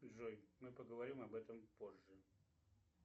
джой мы поговорим об этом позже